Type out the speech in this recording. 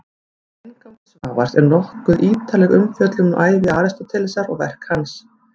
Í inngangi Svavars er nokkuð ítarleg umfjöllun um ævi Aristótelesar og verk hans.